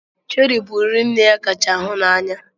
Chéri bụ nri nne ya kacha hụ n'anya.